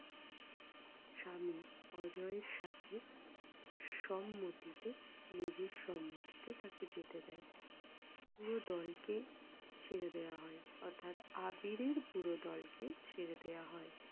তার স্বামী অজয়ের সাথে সম্মতিতে নিজের সম্মতিতে তাকে যেতে দেয়। পুরো দলকে ছেড়ে দেওয়া হয় অর্থাৎ আবিরের পুরো দলকে ছেড়ে দেওয়া হয়।